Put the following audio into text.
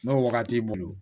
N'o wagati t'i bolo